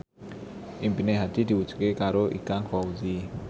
impine Hadi diwujudke karo Ikang Fawzi